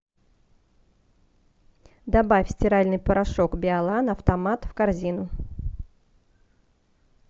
добавь стиральный порошок биолан автомат в корзину